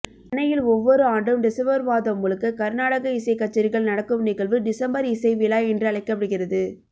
சென்னையில் ஒவ்வொரு ஆண்டும் டிசம்பர் மாதம் முழுக்க கருநாடக இசைக் கச்சேரிகள் நடக்கும் நிகழ்வு டிசம்பர் இசை விழா என்றழைக்கப்படுகிறது